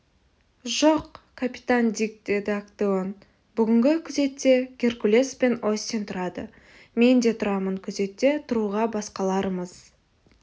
жоқ капитан дик деді актеон бүгінгі күзетте геркулес пен остин тұрады мен де тұрамын күзетте тұруға басқаларымыз